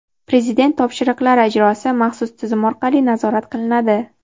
Prezident topshiriqlari ijrosi maxsus tizim orqali nazorat qilinadi.